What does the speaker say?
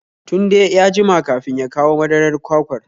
Tunde ya jima kafin ya kawo madarar kwakwar